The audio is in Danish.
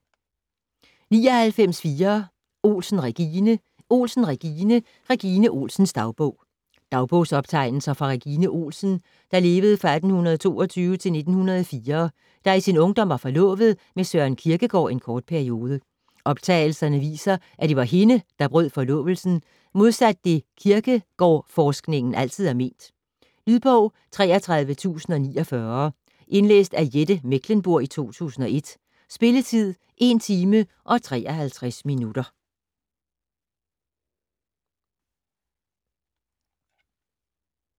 99.4 Olsen, Regine Olsen, Regine: Regine Olsens dagbog Dagbogsoptegnelser fra Regine Olsen (1822-1904) der i sin ungdom var forlovet med Søren Kierkegaard en kort periode. Optegnelserne viser at det var hende, der brød forlovelsen, modsat det Kierkegårdforskningen altid har ment. Lydbog 33049 Indlæst af Jette Mechlenburg, 2001. Spilletid: 1 timer, 53 minutter.